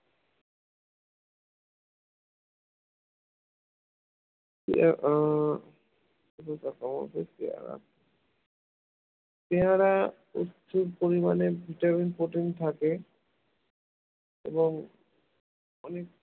হম পেয়ারা পেয়ারা উচ্চ পরিমাণে vitamin ও protein থাকে এবং অনেক